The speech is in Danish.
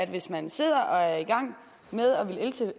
hvis man sidder og er i gang med at ville